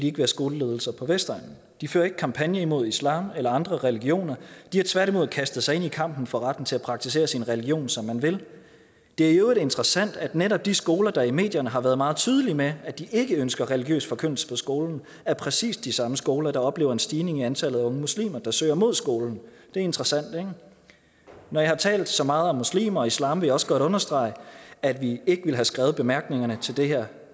ikke være skoleledelser på vestegnen de fører ikke kampagne imod islam eller andre religioner de har tværtimod kastet sig ind i kampen for retten til at praktisere sin religion som man vil det er i øvrigt interessant at netop de skoler der i medierne har været meget tydelige med hensyn at de ikke ønsker religiøs forkyndelse på skolen er præcis de samme skoler der oplever en stigning i antallet af unge muslimer der søger mod skolen det er interessant ikke når jeg har talt så meget om muslimer og islam vil jeg også godt understrege at vi ikke ville have skrevet bemærkningerne til det her